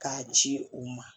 K'a ci u ma